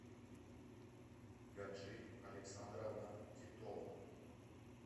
гаджи александровна титова